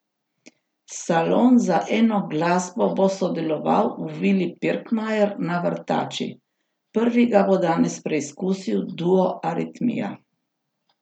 Salon za eno glasbo bo deloval v vili Pirkmajer na Vrtači, prvi ga bo danes preizkusil duo Aritmija.